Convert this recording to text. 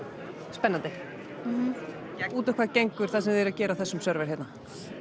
spennandi mhm út á hvað gengur það sem þið eruð að gera á þessum server hérna